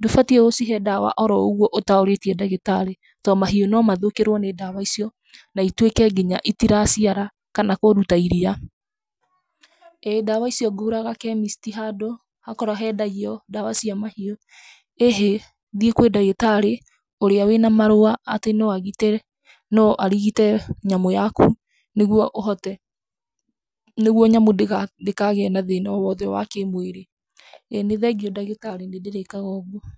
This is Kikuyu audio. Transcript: ndũbatiĩ gũcihe ndawa oro ũguo ũtaũrĩtie ndagĩtarĩ to mahiũ no mathũkĩrwo nĩ ndawa icio na ituĩke nginya itiraciara kana kũruta iria. ĩ, ndawa icio ngũraga chemist handũ, hakowro hendagio ndawa cia mahiũ. ĩhĩ, thiĩ kwĩ ndagitarĩ ũrĩa wĩna marũa atĩ no agitĩra, no arigite nyamũ yaku nĩguo ũhote, nĩguo nyamũ ndĩkagĩa na thĩna o wothe wa kĩmwĩrí. ĩ nĩ thengiũ ndagĩtarĩ, nĩ ndĩrĩĩkaga o ũguo.